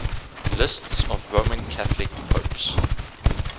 lists of roman catholic popes